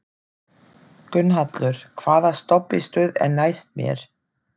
Gunnhallur, hvaða stoppistöð er næst mér?